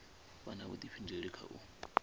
vha na vhudifhinduleli kha u